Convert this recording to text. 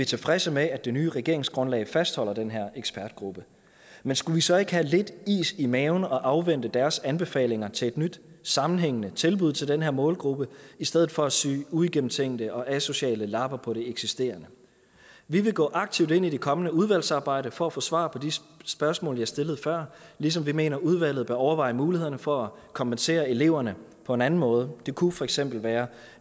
tilfredse med at det nye regeringsgrundlag fastholder den ekspertgruppe men skulle vi så ikke have lidt is i maven og afvente deres anbefalinger til et nyt sammenhængende tilbud til den her målgruppe i stedet for at sy uigennemtænkte og asociale lapper på det eksisterende vi vil gå aktivt ind i det kommende udvalgsarbejde for at få svar på de spørgsmål jeg stillede før ligesom vi mener at udvalget bør overveje mulighederne for at kompensere eleverne på en anden måde det kunne for eksempel være